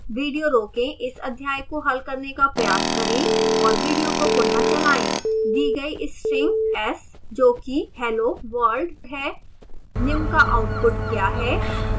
video रोकें इस अध्याय को हल करने का प्रयास करें और विडियो को पुनः चलाएं दी गई string s जो कि hello world है निम्न का आउटपुट क्या है